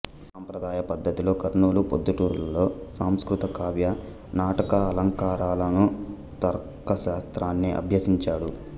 సంప్రదాయ పద్ధతిలో కర్నూలుప్రొద్దుటూరు లలో సంస్కృత కావ్య నాటకాలంకారాలను తర్కశాస్త్రాన్ని ఆభ్యసించాడు